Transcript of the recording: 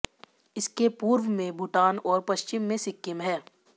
इसके पूर्व में भूटान और पश्चिम में सिक्किम हैं